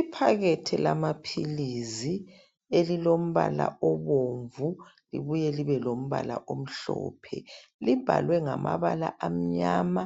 Iphakethe lama philisi elilombala obomvu libuye libe lombala omhlophe .Libhalwe ngamabala amnyama